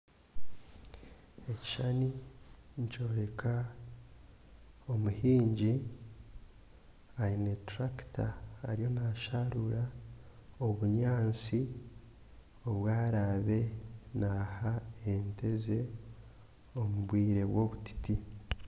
Ekishushani nikyoreka omuhingi aine turakita ariyo naasharura obunyansi obu araabe naha ente ze omu bwire bw'obutiti.